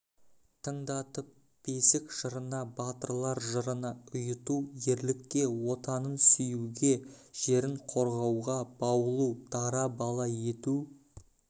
тыңдатып бесік жырына батырлар жырына ұйыту ерлікке отанын сүюге жерін қорғауға баулу дара бала ету